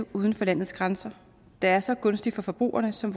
uden for landets grænser der er så gunstig for forbrugerne som